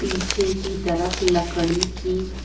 पीछे की तरफ लकड़ी की--